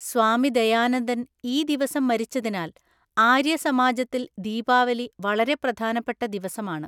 സ്വാമി ദയാനന്ദന്‍ ഈ ദിവസം മരിച്ചതിനാൽ ആര്യസമാജത്തിൽ ദീപാവലി വളരെ പ്രധാനപ്പെട്ട ദിവസമാണ്.